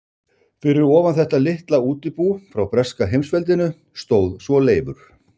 Fyrir ofan þetta litla útibú frá breska heimsveldinu stóð svo Leifur